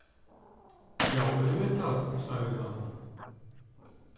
Já, auðvitað- sagði hann.